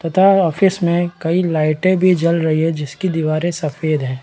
तथा ऑफिस में की लाइटे भी जल रही है जिसकी दीवारे सफ़ेद है।